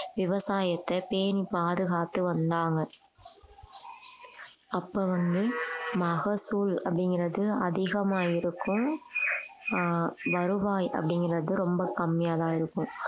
விவசாயத்தை பேணி பாதுகாத்து வந்தாங்க அப்ப வந்து மகசூல் அப்படிங்கிறது அதிகமா இருக்கும் ஆஹ் வருவாய் அப்படிங்கிறது ரொம்ப கம்மியாதான் இருக்கும்